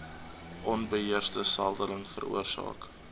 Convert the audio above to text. onbeheerste seldeling veroorsaak